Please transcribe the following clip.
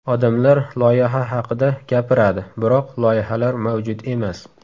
Odamlar loyiha haqida gapiradi, biroq loyihalar mavjud emas.